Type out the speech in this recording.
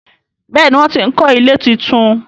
Béèni wón tí ń kò ilé títún.